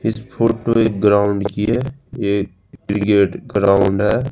इस फोटो एक ग्राउंड की है ये क्रिकेट ग्राउंड है।